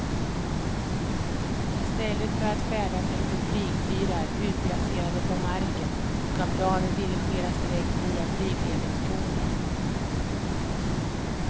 I stället för att färdas efter flygfyrar utplacerade på marken ska planen dirigeras direkt via flygledningstornen.